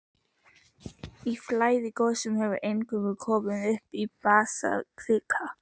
Í flæðigosum hefur eingöngu komið upp basaltkvika.